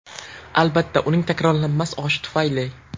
Albatta, uning takrorlanmas oshi tufayli.